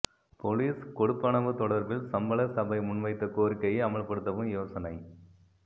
police கொடுப்பனவு தொடர்பில் சம்பள சபை முன்வைத்த கோரிக்கையை அமல்படுத்தவும் யோசனை